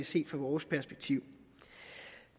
set fra vores perspektiv